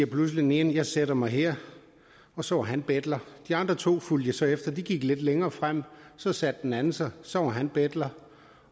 pludselig den ene jeg sætter mig her og så var han betler de andre to fulgte jeg så efter de gik lidt længere frem og så satte den anden sig så var han betler